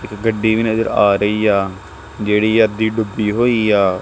ਇੱਕ ਗੱਡੀ ਵੀ ਨਜਰ ਆ ਰਹੀ ਆ ਜਿਹੜੀ ਅੱਧੀ ਡੁੱਬੀ ਹੋਈ ਆ।